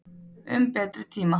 Um betri tíma.